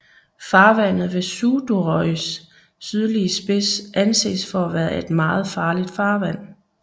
Farvandet ved Suðuroys sydlige spids anses for at være et meget farligt farvand